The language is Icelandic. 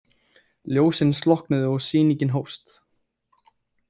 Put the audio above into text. Ljósin slokknuðu og sýningin hófst.